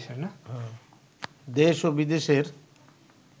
দেশ ও বিদেশের